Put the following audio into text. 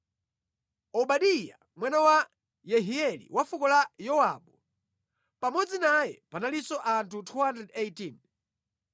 Obadiya, mwana wa Yehieli wa fuko la Yowabu. Pamodzi naye panalinso anthu 218.